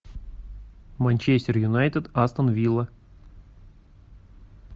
манчестер юнайтед астон вилла